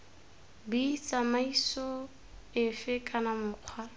b tsamaiso efe kana mokgwa